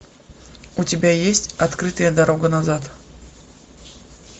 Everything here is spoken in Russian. у тебя есть открытая дорога назад